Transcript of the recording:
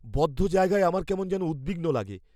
বদ্ধ জায়গায় আমার কেমন যেন উদ্বিগ্ন লাগে।